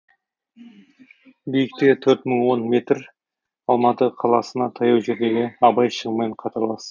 биіктігі төрт мың он метр алматы қаласына таяу жердегі абай шыңымен қатарлас